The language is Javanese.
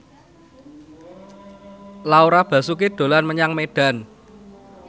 Laura Basuki dolan menyang Medan